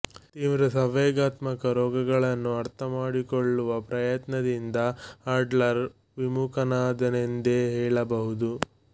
ತೀವ್ರ ಸಂವೇಗಾತ್ಮಕ ರೋಗಗಳನ್ನು ಅರ್ಥ ಮಾಡಿಕೊಳ್ಳುವ ಪ್ರಯತ್ನದಿಂದ ಆಡ್ಲರ್ ವಿಮುಖನಾದನೆಂದೇ ಹೇಳಬಹುದು